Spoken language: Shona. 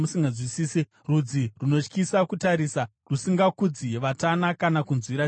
rudzi runotyisa kutarisa rusingakudzi vatana kana kunzwira tsitsi vaduku.